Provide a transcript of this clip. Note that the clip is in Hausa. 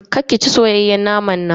Kar ki ci soyayyen naman nan.